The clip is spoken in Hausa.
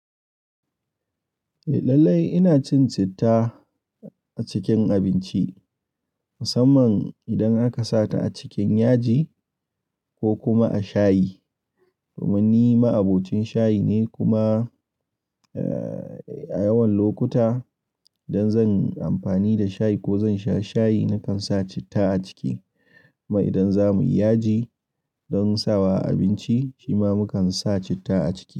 Eh lallai ina cin citta a cikin abinci, musamman idan aka sa ta a cikin yaji ko kuma a shayi. Domin ni ma'abocin shayi ne kuma, eh, a yawan lokuta idan zan amfani da shayi ko zan sha shayi, na kan sa citta a ciki. Kuma idan za mu yi yaji don sawa a abinci, shi ma mu kan sa citta a ciki.